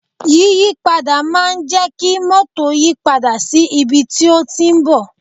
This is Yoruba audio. Yíyí padà máa ń jẹ kí mótò yìí padà sí ibi tí ó ti ń bọ̀